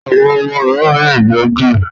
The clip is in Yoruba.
Àwọn ọmọ mìíràn lè jẹ d